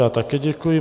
Já také děkuji.